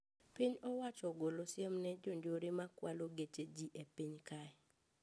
Piny owacho ogolo siem ne jonjore ma kwalo geche ji e piny kae